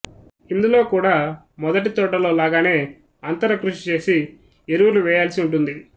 ఇందులో కూడా మొదటి తోటలో లాగానె అంతర కృషి చేసి ఎరువులు వేయాల్సి వుంటుది